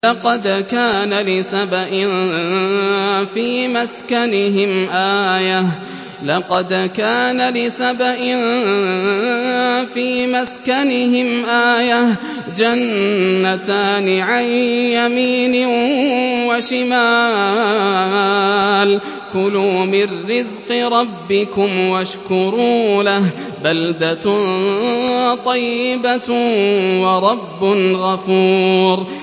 لَقَدْ كَانَ لِسَبَإٍ فِي مَسْكَنِهِمْ آيَةٌ ۖ جَنَّتَانِ عَن يَمِينٍ وَشِمَالٍ ۖ كُلُوا مِن رِّزْقِ رَبِّكُمْ وَاشْكُرُوا لَهُ ۚ بَلْدَةٌ طَيِّبَةٌ وَرَبٌّ غَفُورٌ